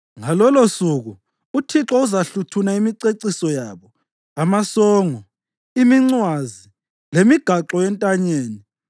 Ngalolosuku uThixo uzahluthuna imiceciso yabo: amasongo, imincwazi, lemigaxo yentanyeni